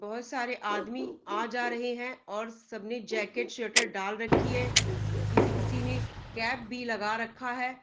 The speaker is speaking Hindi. बहुत सारे आदमी आ जा रहे हैं और सबने जैकेट स्वेटर डाल रखी हैं किसी-किसी ने कैप भी लगा रखा है।